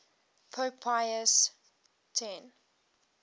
pope pius x